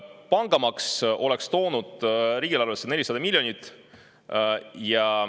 Pangamaks oleks toonud riigieelarvesse 400 miljonit.